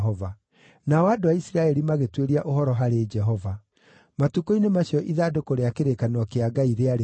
Nao andũ a Isiraeli, magĩtuĩria ũhoro harĩ Jehova. (Matukũ-inĩ macio ithandũkũ rĩa kĩrĩkanĩro kĩa Ngai rĩarĩ kũu,